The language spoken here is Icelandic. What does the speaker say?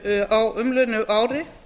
á umliðnu ári